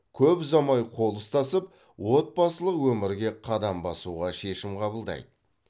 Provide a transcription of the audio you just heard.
көп ұзамай қол ұстасып отбасылық өмірге қадам басуға шешім қабылдайды